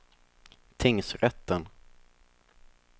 tingsrätten